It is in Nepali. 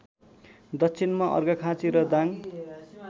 दक्षिणमा अर्घाखाँची र दाङ